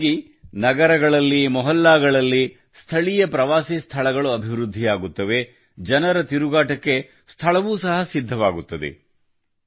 ಇದರಿಂದಾಗಿ ನಗರಗಳಲ್ಲಿ ಪ್ರದೇಶಗಳಲ್ಲಿ ಸ್ಥಳೀಯ ಪ್ರವಾಸಿ ಸ್ಥಳಗಳು ಅಭಿವೃದ್ಧಿಯಾಗುತ್ತವೆ ಜನರ ತಿರುಗಾಟಕ್ಕೆ ಸ್ಥಳವೂ ಸಹ ಸಿದ್ಧವಾಗುತ್ತದೆ